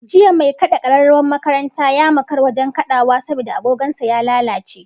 Jiya mai kad'a kararrawar makaranta ya makara wajen kadawa saboda agogon sa ya lalace